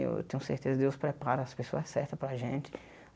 Eu tenho certeza Deus prepara as pessoas certas para a gente.